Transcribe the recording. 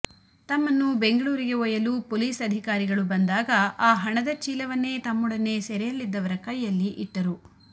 ತಮ್ಮನ್ನು ಬೆಂಗಳೂರಿಗೆ ಒಯ್ಯಲು ಪೊಲೀಸ್ ಅಧಿಕಾರಿಗಳು ಬಂದಾಗ ಆ ಹಣದ ಚೀಲವನ್ನೇ ತಮ್ಮೆಡನೆ ಸೆರೆಯಲ್ಲಿದ್ದವರ ಕೈಯಲ್ಲಿ ಇಟ್ಟರು